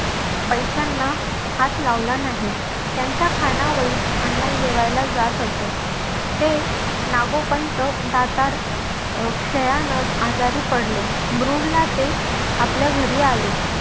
पैशांना हात लावला नाही. त्यांच्या खानावळीत अण्णा जेवायला जात असत. ते नागोपंत दातार अचानक आजारी पडले. मरुडला ते आपल्या घरी आले.